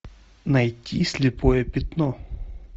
найти слепое пятно